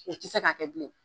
Kun te se k'a kɛ dilen